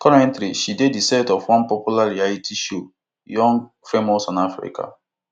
currently she dey di set of one popular reality show young famous and african